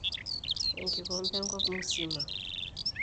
(Enkikombe enkop musima)